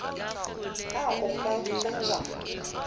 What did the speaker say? na o ka ba wa